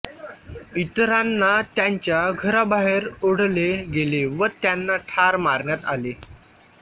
इतरांना त्यांच्या घराबाहेर ओढले गेले व त्यांना ठार मारण्यात आले